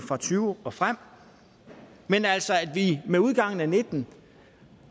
og tyve og frem men med udgangen af og nitten